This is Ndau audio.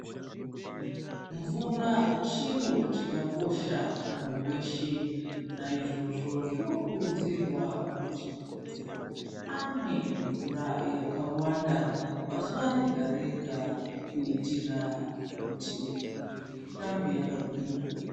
Mvura chiro chakakosha kumunthu weshe naizvozvo zvinokurudzirwa kuti munthu amwe mvura yakawanda pazuva rega rega kuitira kuti mwirir irambe yakagwinya.